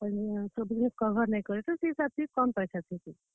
ଆଉ ଯେନ୍ ଥିରେ cover ନାଇ କରେ ସେଥିରେ ଟିକେ କମ୍ ପଏସା ଥିସି।